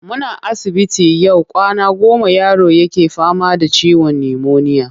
Muna asibiti yau kwana goma yaro yake fama da ciwon nimoniya.